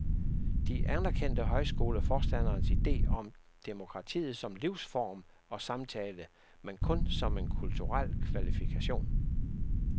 De anerkendte højskoleforstanderens idé om demokratiet som livsform og samtale, men kun som en kulturel kvalifikation.